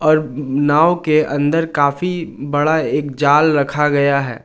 और नाव के अंदर काफी बड़ा एक जाल रखा गया है।